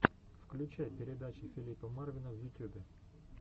включай передача филипа марвина в ютюбе